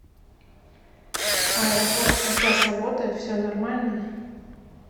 аэропорт сейчас работает все нормально